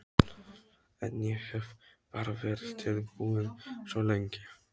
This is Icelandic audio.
En ég hef bara verið tilbúinn svo lengi.